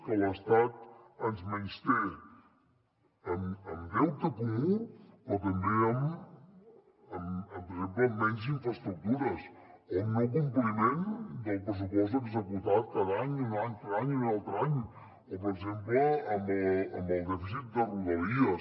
que l’estat ens menysté amb deute comú però també per exemple amb menys infraestructures o amb no compliment del pressupost executat cada any i un altre any i un altre any o per exemple amb el dèficit de rodalies